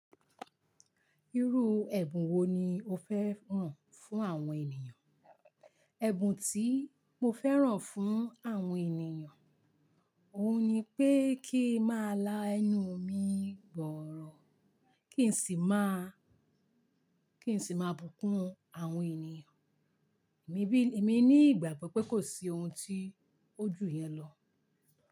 Irú ẹ̀bùn wo ni o fẹ́ ràn fún àwọn ènìyàn? Ẹ̀bùn tí mo fẹ́ràn fún àwọn ènìyàn, òun ni pé kí n máa la ẹnu mi bọ̀ ọ̀rọ̀, kí n sì máa, kí n sì máa bùkún àwọn ènìyàn. Èmi bí, èmi ní ìgbàgbọ́ pé kò sí ohun tí ojú yẹn lọ.